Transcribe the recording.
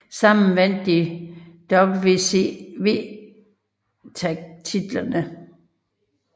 Sammen vandt de WCW tag titlerne